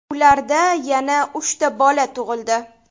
Ularda yana uchta bola tug‘ildi.